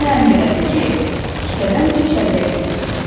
İtinə əmr elədi ki, kisədən bir çəllək götürsün.